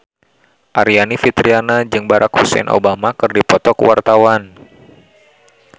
Aryani Fitriana jeung Barack Hussein Obama keur dipoto ku wartawan